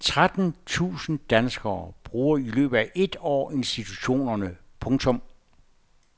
Tretten tusind danskere bruger i løbet af et år institutionerne. punktum